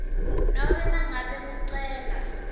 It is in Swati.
nobe nangabe kucela